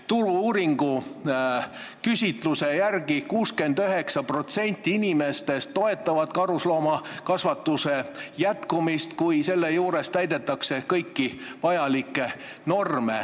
Turu-uuringute küsitluse järgi toetab 69% inimestest karusloomakasvatuse jätkumist, kui täidetakse kõiki norme.